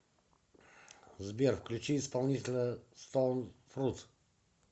сбер включи исполнителя стоун фрут